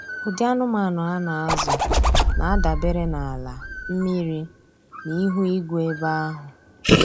Ụdị anụmanụ a na-azụ na-adabere n’ala, mmiri, na ihu igwe ebe ahụ.